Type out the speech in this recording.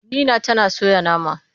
Nina tana soya nama.